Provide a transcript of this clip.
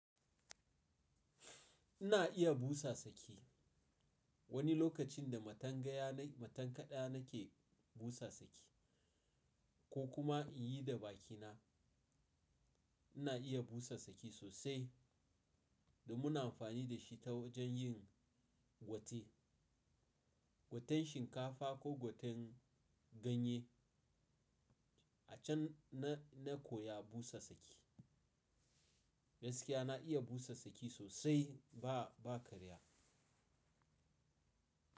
Ina iya busa saki. Wani lokacin da matangaya na matan kaɗa nake busa saki ko kuma in yi da bakina. Ina iya busa saki sosai da muna amfani da shi ta wajen yin gwate, gwaten shinkafa ko gwaten ganye. A can na, na koya busa saki. Gaskiya na iya busa saki sosai ba, ba karya.